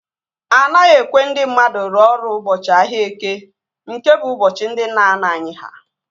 Anaghị ekwe ndị mmadụ rụọ ọrụ ụbọchị ahịa Eke nke bụ ụbọchị ndị nna nna anyị ha